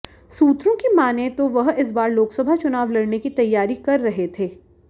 सूत्रों की मानें तो वह इस बार लोकसभा चुनाव लड़ने की तैयारी कर रहे थे